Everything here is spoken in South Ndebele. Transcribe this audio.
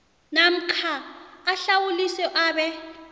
namkha ahlawuliswe abe